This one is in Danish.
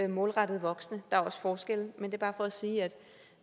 målrettet voksne der er også forskelle men det er bare for at sige at